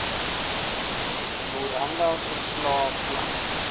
memoranda verslae planne